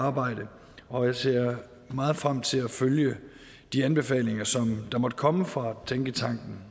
arbejde og jeg ser meget frem til at følge de anbefalinger som der måtte komme fra tænketanken